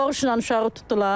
Doğuşla uşağı tutdular.